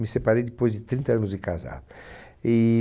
Me separei depois de trinta anos de casado. E...